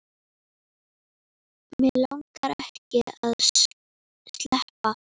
Mig langaði ekki að sleppa.